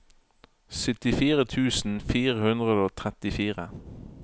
syttifire tusen fire hundre og trettifire